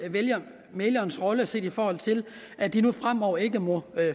mæglernes rolle set i forhold til at de nu fremover ikke må